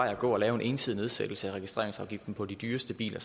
at gå at lave en ensidig nedsættelse af registreringsafgiften på de dyreste biler